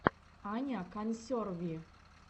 аня консерви